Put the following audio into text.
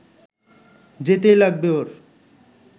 যেতেই লাগবে ওর